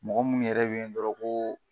Mɔgɔ munnu yɛrɛ be yen dɔrɔn ko